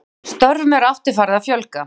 Störfum er aftur farið að fjölga